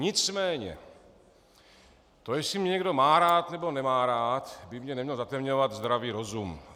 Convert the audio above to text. Nicméně to, jestli mě někdo má rád, nebo nemá rád, by mi nemělo zatemňovat zdravý rozum.